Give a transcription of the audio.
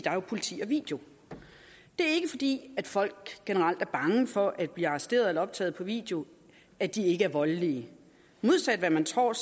er jo politi og video det er ikke fordi folk generelt er bange for at blive arresteret eller optaget på video at de ikke er voldelige modsat af hvad man tror